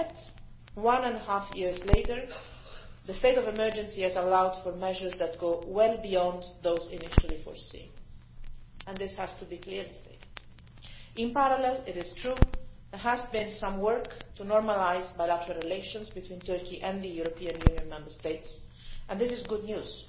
Yet, one and a half years later, the state of emergency has allowed measures that go well beyond those initially foreseen, and this has to be clearly stated. In parallel, it is true, there has been some work to normalise bilateral relations between Turkey and the EU Member States, and this is good news